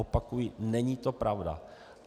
Opakuji, není to pravda.